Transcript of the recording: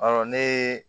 Ɔ ne ye